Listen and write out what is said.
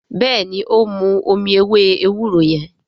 béèni o n mú omí ewé ewúro yen.